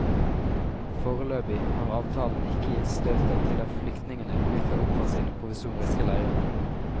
Foreløpig har avtalen ikke gitt støtet til at flyktningene bryter opp fra sine provisoriske leire.